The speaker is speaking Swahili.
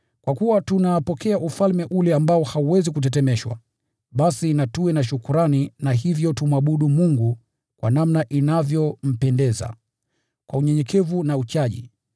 Kwa hiyo, kwa kuwa tunapokea ufalme ambao hauwezi kutetemeshwa, basi na tuwe na shukrani, na hivyo tumwabudu Mungu kwa namna inayompendeza, kwa unyenyekevu na uchaji,